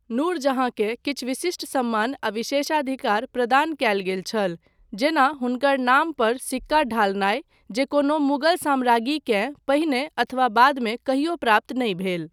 नूर जहाँकेँ किछु विशिष्ट सम्मान आ विशेषाधिकार प्रदान कयल गेल छल, जेना हुनकर नाम पर सिक्का ढालनाय, जे कोनो मुगल साम्राज्ञीकेँ पहिने अथवा बादमे कहियो प्राप्त नहि भेल।